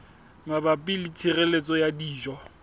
mabapi le tshireletso ya dijo